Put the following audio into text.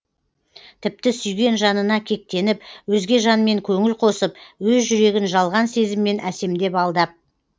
тіпті сүйген жанына кектеніп өзге жанмен көңіл қосып өз жүрегін жалған сезіммен әсемдеп алдап